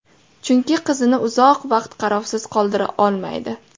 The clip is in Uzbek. Chunki qizini uzoq vaqt qarovsiz qoldira olmaydi.